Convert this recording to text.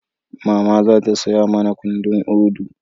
Mama za ta saya mana kundin Udu